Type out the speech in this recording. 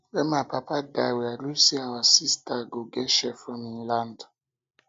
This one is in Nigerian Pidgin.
wen my papa die we agree say our sisters go get share for im land